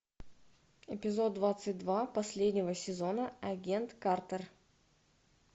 эпизод двадцать два последнего сезона агент картер